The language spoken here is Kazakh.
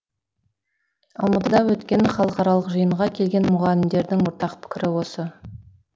алматыда өткен халықаралық жиынға келген мұғалімдердің ортақ пікірі осы